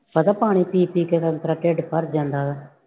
ਪਤਾ ਪਾਣੀ ਪੀ ਪੀ ਕੇ ਢਿੱਡ ਭਰ ਜਾਂਦਾ ਉਹਦਾ।